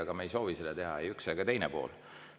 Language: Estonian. Aga me ei soovi seda teha, ei üks ega teine pool.